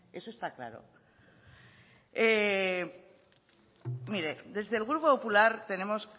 eso está claro mire desde el grupo popular tenemos